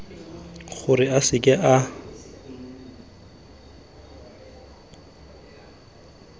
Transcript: gore a seke a tswelela